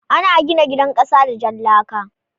Ana gina gidan kasa da jan laka.